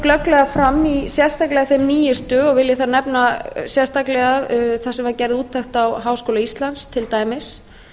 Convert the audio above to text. glögglega fram í sérstaklega þeim nýjustu og vil ég þar nefna sérstaklega þar sem var gerð úttekt á háskóla íslands til dæmis